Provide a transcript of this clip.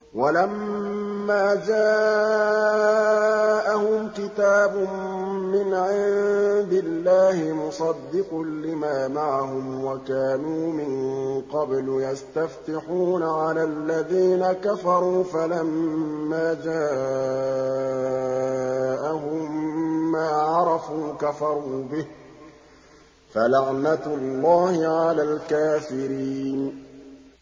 وَلَمَّا جَاءَهُمْ كِتَابٌ مِّنْ عِندِ اللَّهِ مُصَدِّقٌ لِّمَا مَعَهُمْ وَكَانُوا مِن قَبْلُ يَسْتَفْتِحُونَ عَلَى الَّذِينَ كَفَرُوا فَلَمَّا جَاءَهُم مَّا عَرَفُوا كَفَرُوا بِهِ ۚ فَلَعْنَةُ اللَّهِ عَلَى الْكَافِرِينَ